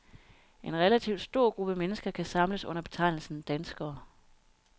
En relativt stor gruppe mennesker kan samles under betegnelsen danskere.